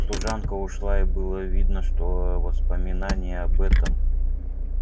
служанка ушла и было видно что воспоминаний об этом